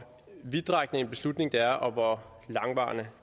vidtrækkende en beslutning det er og hvor langvarige